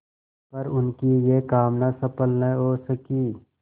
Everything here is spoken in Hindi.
पर उनकी यह कामना सफल न हो सकी